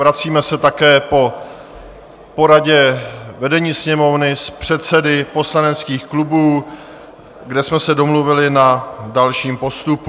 Vracíme se také po poradě vedení Sněmovny s předsedy poslaneckých klubů, kde jsme se domluvili na dalším postupu.